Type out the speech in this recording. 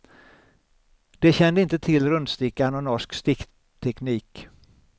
De kände inte till rundstickan och norsk stickteknik.